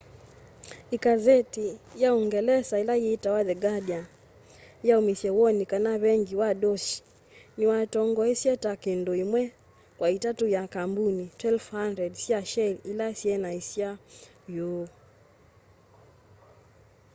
ikanzeti ya uungelesa ila yitawa the guardian yaumisye woni kana vengi wa deutsche niwatongoesya ta kindu imwe kwa itatu ya kambuni 1200 sya shell ila syeaniasya uu